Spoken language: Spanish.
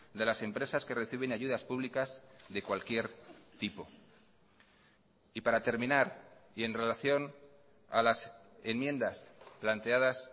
de las empresas que reciben ayudas públicas de cualquier tipo y para terminar y en relación a las enmiendas planteadas